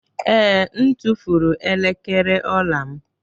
Ee, m tụfuru elekere ọla y m